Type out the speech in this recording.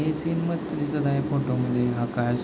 हे सीन मस्त दिसत आहे फोटोमध्ये आकाश.